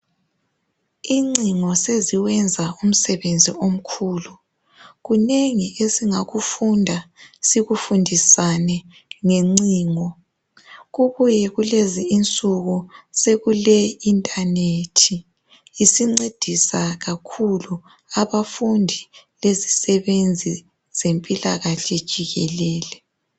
Incingo seziwenza umsebenzi omkhulu kunengi esingakufunda sikufundisane ngencingo kubuye kulezi insuku sekule internet isincedisa kakhulu abafundi lezisebenzi zempilakahle jikelele.